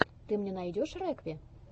ты мне найдешь рекви